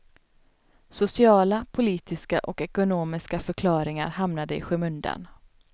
Sociala, politiska och ekonomiska förklaringar hamnade i skymundan.